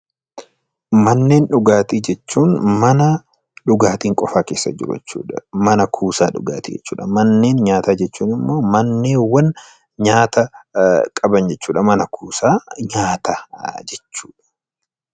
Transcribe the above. Manneen dhugaatii jechuun mana dhugaatiin qofaan keessa jiru jechuu dha. Mana kuusaa dhugaatii jechuu dha. Manneen nyaataa jechuun immoo manneewwan nyaata qaban jechuu dha. Mana kuusaa nyaataa jechuu dha.